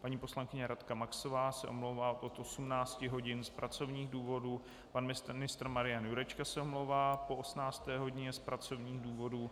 Paní poslankyně Radka Maxová se omlouvá od 18 hodin z pracovních důvodů, pan ministr Marian Jurečka se omlouvá po 18. hodině z pracovních důvodů,